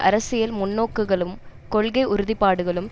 அரசியல் முன்னோக்குகளும் கொள்கை உறுதிபாடுகளும்